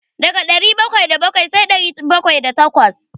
Daga ɗari bakwai da bakwai sai ɗari bakwai da takwas.